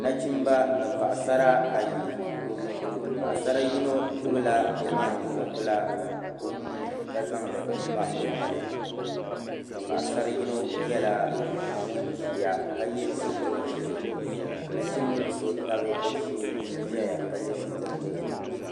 Na chimba ni paɣi sara ayi, paɣi sari yinɔ gbubi la mŋan buɣu bila, ɔnuuni ka zaŋli n-kpa ɔnɔli paɣisari yinɔ nyɛla ŋun ʒiya ka ye sitiriʒɛɛ , ka nachimbili so tabi ɔ shee nʒɛya ka ye sitiri dozim